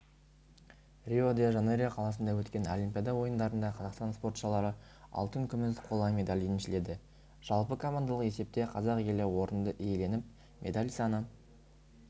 рио-де-жанейро қаласында өткен олимпиада ойындарында қазақстан спортшылары алтын күміс қола медаль еншіледі жалпы командалық есепте қазақ елі орынды иеленіп медаль саны